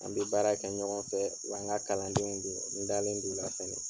An bɛ baara kɛ ɲɔgɔn fɛ wa n ka kalandenw dun n dalen do u la.